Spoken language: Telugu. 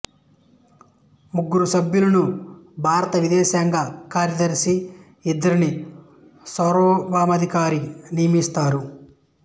ముగ్గురు సభ్యులను భారత విదేశాంగ కార్యదర్శి ఇద్దరిని సార్వభౌమాధికారి నియమిస్తారు